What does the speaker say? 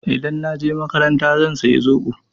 Idan na je makaranta zan saya zoɓo.